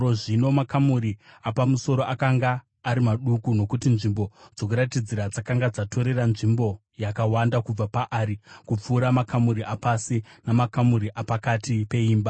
Zvino makamuri apamusoro akanga ari maduku, nokuti nzvimbo dzokuratidzira dzakanga dzatorera nzvimbo yakawanda kubva paari kupfuura makamuri apasi namakamuri apakati peimba.